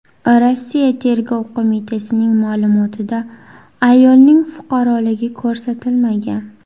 Rossiya Tergov qo‘mitasining ma’lumotida ayolning fuqaroligi ko‘rsatilmagan.